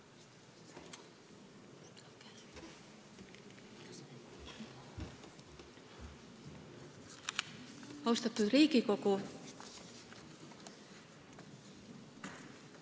Austatud Riigikogu!